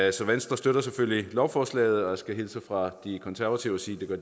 i så venstre støtter selvfølgelig lovforslaget og jeg skal hilse fra de konservative og sige at